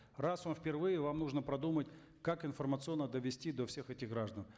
раз он впервые вам нужно продумать как информационно довести до всех этих граждан